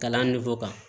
Kalan kan